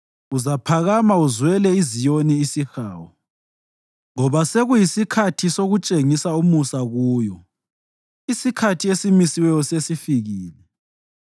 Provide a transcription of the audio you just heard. Uzaphakama uzwele iZiyoni isihawu, ngoba sekuyisikhathi sokutshengisa umusa kuyo, isikhathi esimisiweyo sesifikile.